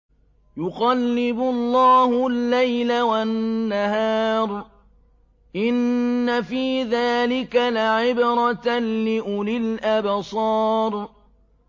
يُقَلِّبُ اللَّهُ اللَّيْلَ وَالنَّهَارَ ۚ إِنَّ فِي ذَٰلِكَ لَعِبْرَةً لِّأُولِي الْأَبْصَارِ